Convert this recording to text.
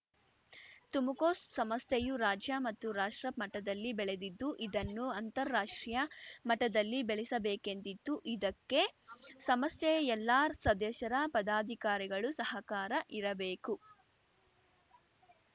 ತುಮ್‌ಕೋಸ್‌ ಸಂಸ್ಥೆಯು ರಾಜ್ಯ ಮತ್ತು ರಾಷ್ಟ್ರ ಮಟದಲ್ಲಿ ಬೆಳೆದಿದ್ದು ಇದನ್ನು ಅಂತಾರಾಷ್ಟ್ರೀಯ ಮಟದಲ್ಲಿ ಬೆಳೆಸಬೇಕೆಂದಿದ್ದು ಇದಕ್ಕೆ ಸಮಸ್ಥೆಯ ಎಲ್ಲಾ ಸದಸ್ಯರ ಪದಾಧಿಕಾರಿಗಳು ಸಹಕಾರ ಇರಬೇಕು